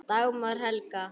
Dagmar Helga.